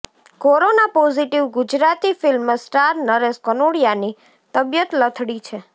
corona positive Gujarati film star Naresh કનોડિયાની તબિયત લથડી છે